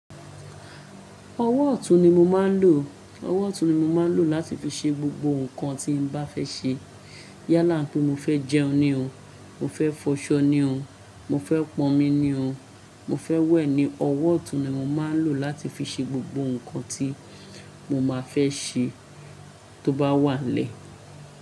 Ọwọ́ ọ̀tún ni mo máa ń lò. Ọwọ́ ọ̀tún ni mo máa ń lò láti fi ṣe gbogbo nǹkan tí mo bá fẹ́ ṣe. Yálà pé mo fẹ́ jẹun ni o. Mo fẹ́ fọṣọ ni o. Mo fẹ́ pọnmi ni o. Mo fẹ́ wẹ̀ ni. Ọwọ́ ọ̀tún ni mo máa ń lò láti fi ṣe gbogbo nǹkan tí mo máa fẹ́ ṣe tó bá wà n lẹ́ẹ̀.